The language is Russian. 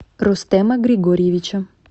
рустема григорьевича